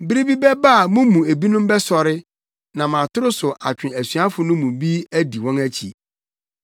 Bere bi bɛba a mo mu ebinom bɛsɔre, nam atoro so atwe asuafo no mu bi adi wɔn akyi.